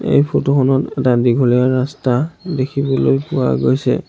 এই ফটো খনত এটা দীঘলীয়া ৰাস্তা দেখিবলৈ পোৱা গৈছে।